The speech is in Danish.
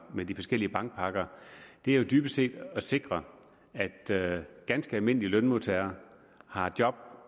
med de forskellige bankpakker er jo dybest set at sikre at ganske almindelige lønmodtagere har job